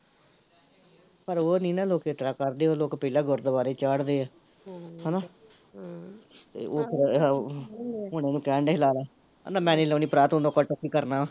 ਪਰ ਓਹ ਨੀ ਨਾ ਲੋਕ ਇਸਤਰਾਂ ਕਰਦੇ, ਓਹ ਲੋਕ ਪਹਿਲਾਂ ਗੁਰਦਵਾਰੇ ਚਾੜਦੇ ਐ ਹਮ ਹੈਨਾ ਹਮ ਤੇ ਉਹ ਫਿਰ ਓਹ ਓਹਨਾ ਨੂੰ ਕਹਿਣ ਡਏ ਸੀ ਲਾਲਾ ਕਹਿੰਦਾ ਮੈਨੀ ਲਾਉਣੀ ਭਰਾ ਤੂੰ ਤੇ ਕਰਨਾ ਵਾਂ